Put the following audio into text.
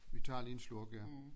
Vi tager lige en slurk ja